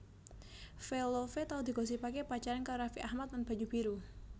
Velove tau digosipaké pacaran karo Raffi Ahmad lan Banyu Biru